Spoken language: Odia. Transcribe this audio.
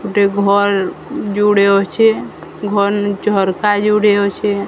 ଗୁଟେ ଘର୍ ଯୁଡ଼େ ଅଛେ। ଘରନେ ଝର୍କା ଯୋଡ଼େ ଅଛେ।